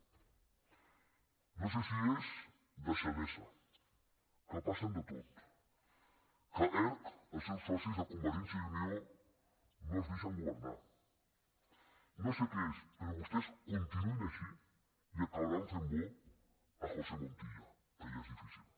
no sé si és deixadesa que passen de tot que erc els seus socis de convergència i unió no els deixen governar no sé què és però vostès continuïn així i acabaran fent bo josé montilla que ja és difícil